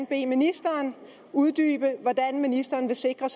bede ministeren uddybe hvordan ministeren vil sikre